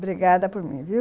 Obrigada por mim, viu?